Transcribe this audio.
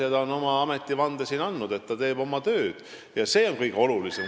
Janek Mäggi on siin ametivande andnud, ta teeb oma tööd ja see on kõige olulisem.